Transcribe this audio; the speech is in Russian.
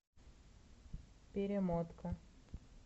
перемотка